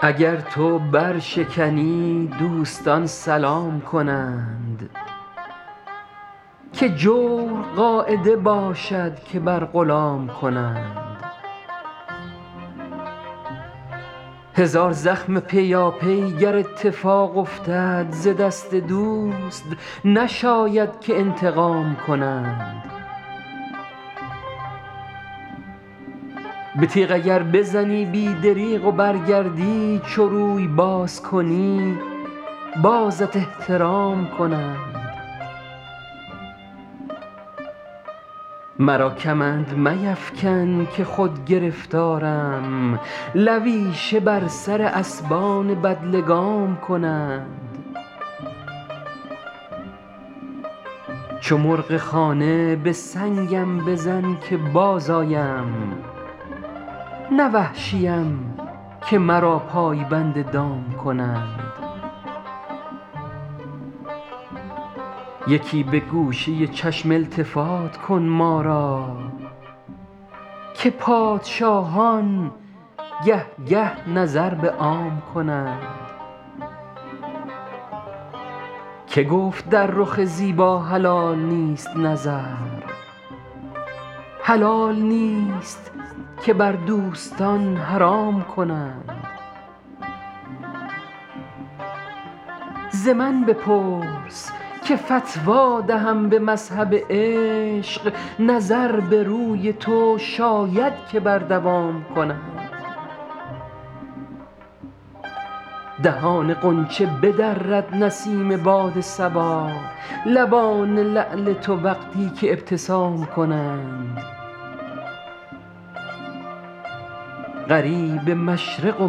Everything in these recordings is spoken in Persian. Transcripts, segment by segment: اگر تو برشکنی دوستان سلام کنند که جور قاعده باشد که بر غلام کنند هزار زخم پیاپی گر اتفاق افتد ز دست دوست نشاید که انتقام کنند به تیغ اگر بزنی بی دریغ و برگردی چو روی باز کنی بازت احترام کنند مرا کمند میفکن که خود گرفتارم لویشه بر سر اسبان بدلگام کنند چو مرغ خانه به سنگم بزن که بازآیم نه وحشیم که مرا پای بند دام کنند یکی به گوشه چشم التفات کن ما را که پادشاهان گه گه نظر به عام کنند که گفت در رخ زیبا حلال نیست نظر حلال نیست که بر دوستان حرام کنند ز من بپرس که فتوی دهم به مذهب عشق نظر به روی تو شاید که بر دوام کنند دهان غنچه بدرد نسیم باد صبا لبان لعل تو وقتی که ابتسام کنند غریب مشرق و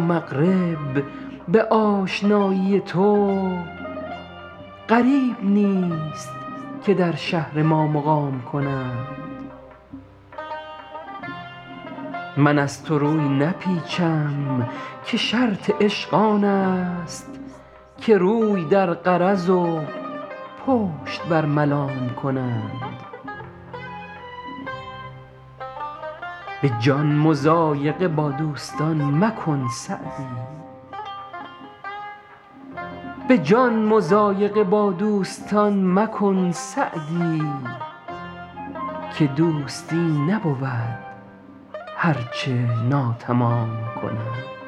مغرب به آشنایی تو غریب نیست که در شهر ما مقام کنند من از تو روی نپیچم که شرط عشق آن است که روی در غرض و پشت بر ملام کنند به جان مضایقه با دوستان مکن سعدی که دوستی نبود هر چه ناتمام کنند